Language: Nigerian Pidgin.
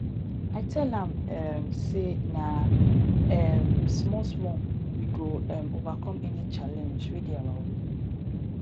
i tell am um sey na um smallsmall we go um overcome any challenge wey dey our way